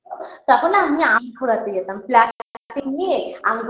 তখন না আমি আম কুড়াতে যেতাম plastic নিয়ে আম